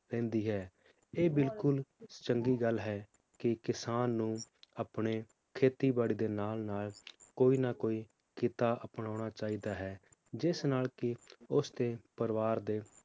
ਰਹਿੰਦੀ ਹੈ ਇਹ ਬਿਲਕੁਲ ਚੰਗੀ ਗੱਲ ਹੈ ਕੀ ਕਿਸਾਨ ਨੂੰ ਆਪਣੇ ਖੇਤੀ ਬਾੜੀ ਦੇ ਨਾਲ ਨਾਲ ਕੋਈ ਨਾ ਕੋਈ ਕੀਤਾ ਅਪਣਾਉਣਾ ਚਾਹੀਦਾ ਹੈ, ਜਿਸ ਨਾਲ ਕੀ ਉਸ ਦੇ ਪਰਿਵਾਰ ਦੇ